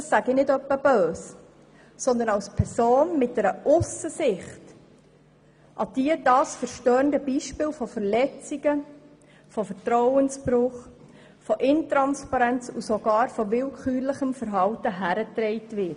Das meine ich nicht etwa böse, sondern sage das als Person mit einer Aussensicht, an die dieses Beispiel von Verletzungen, Vertrauensbruch, Intransparenz und willkürlichem Verhalten herangetragen wurde.